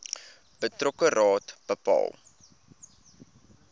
betrokke raad bepaal